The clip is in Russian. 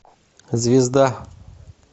звезда